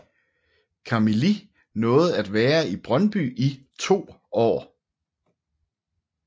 Camili nåede at være I Brøndby i to år